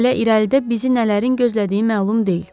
Hələ irəlidə bizi nələrin gözlədiyi məlum deyil.